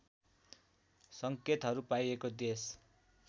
सङ्केतहरू पाइएको देश